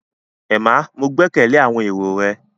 Emma, ​​Mo gbẹkẹle awọn ero rẹ